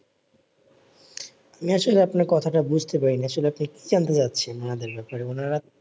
মিয়াছির আপনার কথাটা বুঝতে পারি নি আসলে আপনি কি জানতে চাচ্ছেন ওনাদের ব্যাপারে ওনারা